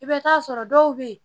I bɛ taa sɔrɔ dɔw bɛ yen